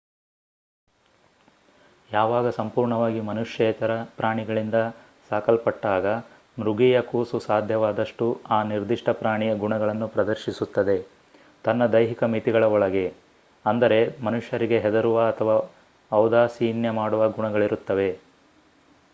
ಯಾವಾಗ ಸಂಪೂರ್ಣವಾಗಿ ಮನುಷ್ಯೇತರ ಪ್ರಾಣಿಗಳಿಂದ ಸಾಕಲ್ಪಟ್ಟಾಗ ಮೃಗೀಯ ಕೂಸು ಸಾಧ್ಯವಾದಷ್ಟು ಆ ನಿರ್ದಿಷ್ಟ ಪ್ರಾಣಿಯ ಗುಣಗಳನ್ನು ಪ್ರದರ್ಶಿಸುತ್ತದೆ ತನ್ನ ದೈಹಿಕ ಮಿತಿಗಳ ಒಳಗೆ ಅಂದರೆ ಮನುಷ್ಯರಿಗೆ ಹೆದರುವ ಅಥವಾ ಔದಾಸೀನ್ಯ ಮಾಡುವ ಗುಣಗಳಿರುತ್ತವೆ